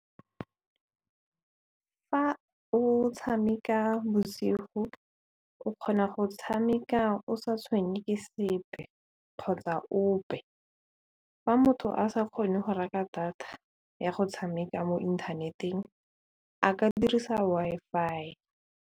Fa o tshameka bosigo o kgona go tshameka o sa tshwenye ke sepe kgotsa ope fa motho a sa kgone go reka data ya go tshameka mo inthaneteng a ka dirisa Wi-Fi.